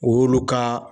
Olu ka